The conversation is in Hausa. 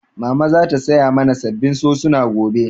Mama za ta saya mana sabbin sosuna gobe